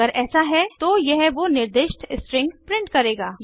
अगर ऐसा है तो यह वो निर्दिष्ट स्ट्रिंग प्रिंट करेगा